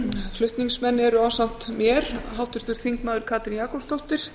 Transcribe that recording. flutningsmenn eru ásamt mér háttvirtir þingmenn katrín jakobsdóttir